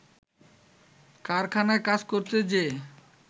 কারখানায় কাজ করতে যেয়ে